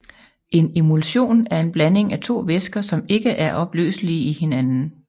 En emulsion er en blanding af to væsker som ikke er opløselige i hinanden